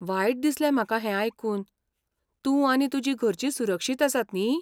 वायट दिसलें म्हाका हें आयकून, तूं आनी तुजीं घरचीं सुरक्षीत आसात न्ही?